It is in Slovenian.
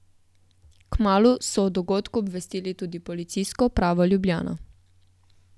Kmalu so o dogodku obvestili tudi Policijsko upravo Ljubljana.